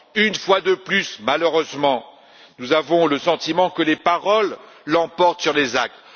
Une fois de plus, malheureusement, nous avons le sentiment que les paroles l'emportent sur les actes.